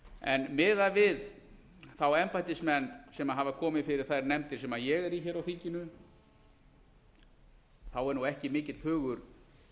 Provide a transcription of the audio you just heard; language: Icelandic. en miðað við þá embættismenn sem hafa komið fyrir þær nefndir sem ég er í á þinginu þá er ekki mikill hugur